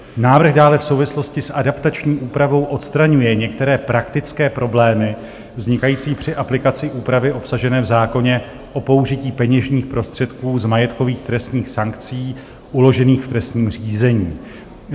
Návrh dále v souvislosti s adaptační úpravou odstraňuje některé praktické problémy vznikající při aplikaci úpravy obsažené v zákoně o použití peněžních prostředků z majetkových trestních sankcí uložených v trestním řízení.